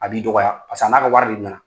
A b'i dɔgɔya paseke a n'a ka wari de na na.